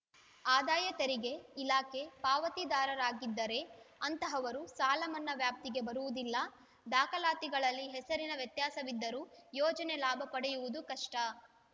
ಆದಾಯ ತೆರಿಗೆ ಇಲಾಖೆ ಪಾವತಿದಾರರಾಗಿದ್ದರೆ ಅಂತಹವರು ಸಾಲಮನ್ನಾ ವ್ಯಾಪ್ತಿಗೆ ಬರುವುದಿಲ್ಲ ದಾಖಲಾತಿಗಳಲ್ಲಿ ಹೆಸರಿನ ವ್ಯತ್ಯಾಸವಿದ್ದರೂ ಯೋಜನೆ ಲಾಭ ಪಡೆಯುವುದು ಕಷ್ಟ